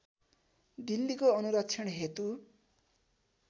दिल्लीको अनुरक्षण हेतु